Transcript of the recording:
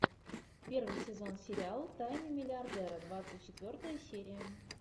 первый сезон сериала тайны миллиардера двадцать четвертая серия